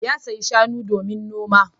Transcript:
Ya saya mana boga jiya